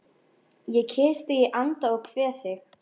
Ég kyssi þig í anda og kveð þig